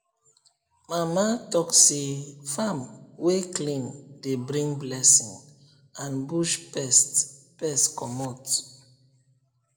mama talk say farm wey clean dey bring blessing and push pest pest commot